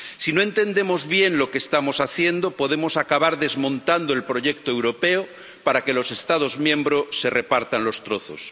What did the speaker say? Si no entendemos bien lo que estamos haciendo, podemos acabar desmontando el proyecto europeo para que los Estados miembros se repartan los trozos.